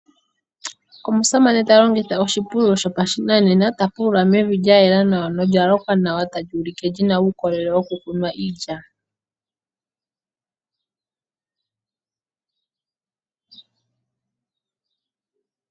Omusamane talongitha oshipululo sho pashinanena ta pulula mevi lyayela nawa nolya lokwa nawa ta li ulike lyina uukolele wo ku kunwa iilya.